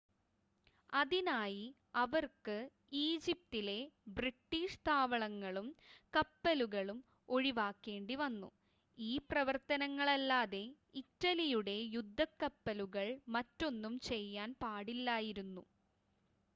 അതിനായി അവർക്ക് ഈജിപ്തിലെ ബ്രിട്ടീഷ് താവളങ്ങളും കപ്പലുകളും ഒഴിവാക്കേണ്ടിവന്നു ഈ പ്രവർത്തനങ്ങളല്ലാതെ ഇറ്റലിയുടെ യുദ്ധക്കപ്പലുകൾ മറ്റൊന്നും ചെയ്യാൻ പാടില്ലായിരുന്നു